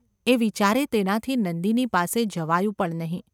’ એ વિચારે તેનાથી નંદિની પાસે જવાયું પણ નહિ.